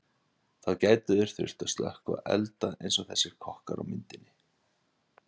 þá gætu þeir þurft að slökkva elda eins og þessir kokkar á myndinni